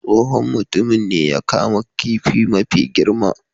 Tsohon mutumin ne ya kama kifin mafi girman.